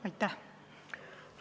Aitäh!